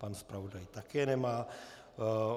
Pan zpravodaj také nemá.